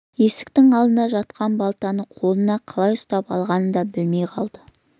есіктің алдында жатқан балтаны қолына қалай ұстай алғанын да білмей қалды